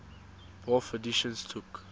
bofh editions took